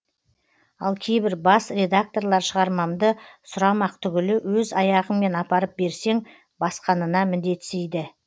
ал кейбір бас редакторлар шығармамды сұрамақ түгілі өз аяғыңмен апарып берсең басқанына міндетсиді